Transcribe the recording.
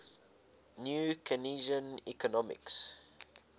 new keynesian economics